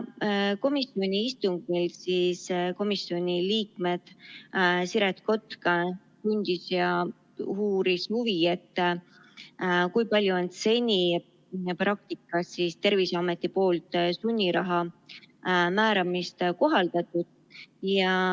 Komisjoni istungil komisjoni liige Siret Kotka tundis huvi ja uuris, kui palju on seni Terviseameti praktikas sunniraha määramist kohaldatud.